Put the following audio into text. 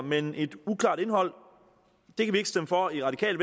men et uklart indhold det kan vi ikke stemme for i radikale